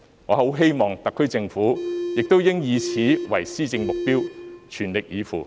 我希望特區政府亦應以此為施政目標，全力以赴。